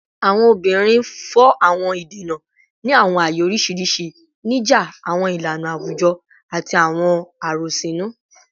Awọn obinrin fọ awọn idena ni awọn aaye oriṣiriṣi, nija awọn ilana awujọ ati awọn arosinu